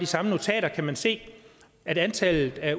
samme notater kan man se at antallet af